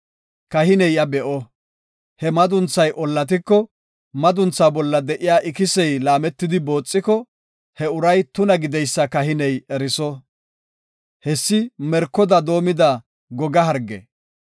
Kahiney iya be7o; he madunthay ollatiko, madunthaa bolla de7iya ikisey laametidi booxiko, he uray tuna gideysa kahiney eriso. Hessi merkoda doomida goga harge.